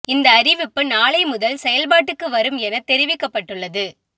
இந்த அறிவிப்பு நாளை முதல் செயல் பாட்டுக்கு வரும் என தெரிவிக்கப்பட்டுள்ளது